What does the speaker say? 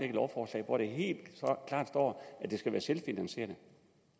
et lovforslag hvor der helt klart står at det skal være selvfinansierende